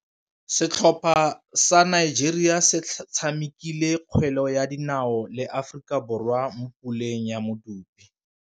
Setlhopha sa Nigeria se tshamekile kgwele ya dinaô le Aforika Borwa mo puleng ya medupe.